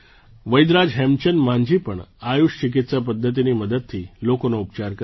વૈદરાજ હેમચંદ માંઝી પણ આયુષ ચિકિત્સા પદ્ધતિની મદદથી લોકોનો ઉપચાર કરે છે